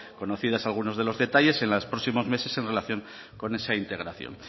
conocidos algunos de los detalles en los próximos meses en relación con esa integración